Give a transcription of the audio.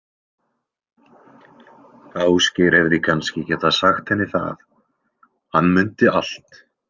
Ásgeir hefði kannski getað sagt henni það, hann mundi allt.